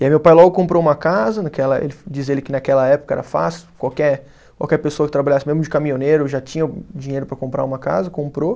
E aí meu pai logo comprou uma casa né, naquela, diz ele que naquela época era fácil, qualquer qualquer pessoa que trabalhasse mesmo de caminhoneiro já tinha dinheiro para comprar uma casa, comprou.